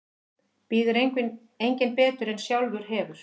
Býður enginn betur en sjálfur hefur.